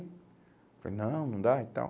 Eu falei, não, não dá e tal.